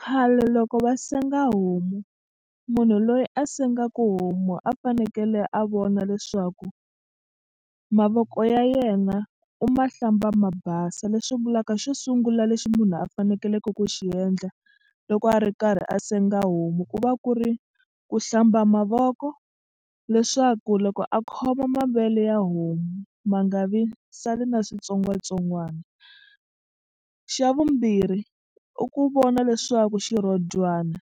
Khale loko va senga homu munhu loyi a sengaku homu a fanekele a vona leswaku mavoko ya yena u ma hlamba ma basa. Leswi vulaka xo sungula lexi munhu a fanekeleke ku xi endla loko a ri karhi a senga homu ku va ku ri ku hlamba mavoko leswaku loko a khoma mavele ya homu ma nga vi sali na switsongwatsongwana. Xa vumbirhi i ku vona leswaku xirhodyana